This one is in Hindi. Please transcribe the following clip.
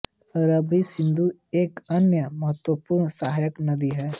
रवि सिंधु की एक अन्य महत्वपूर्ण सहायक नदी है